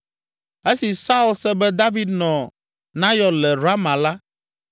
Esi Saul se be David nɔ Nayɔt le Rama la,